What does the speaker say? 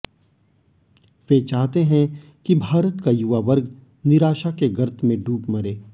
वे चाहते हैं कि भारत का युवा वर्ग निराशा के गर्त में डूब मरे